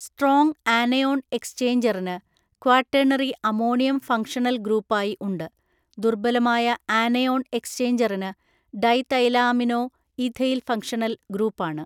Strong anion എക്സ്ചേഞ്ചറിന് quaternary ammonium functional ഗ്രൂപ്പായി ഉണ്ട്. ദുർബലമായ ആനയോൺ എക്സ്ചേഞ്ചറിന് ഡൈതൈലാമിനോഇഥൈൽ ഫങ്ഷണൽ ഗ്രൂപ്പാണ്.